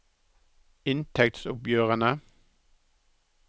inntektsoppgjørene